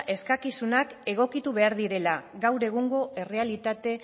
eskakizunak egokitu behar direla gaur egungo errealitate